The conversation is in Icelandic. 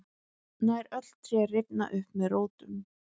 nær öll tré rifna upp með rótum